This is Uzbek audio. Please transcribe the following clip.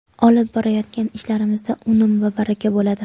Olib borayotgan ishlarimizda unum va baraka bo‘ladi.